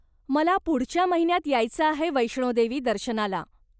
मला पुढच्या महिन्यात यायचं आहे वैष्णोदेवी दर्शनाला.